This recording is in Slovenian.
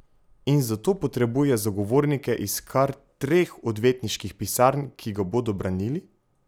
In zato potrebuje zagovornike iz kar treh odvetniških pisarn, ki ga bodo branili?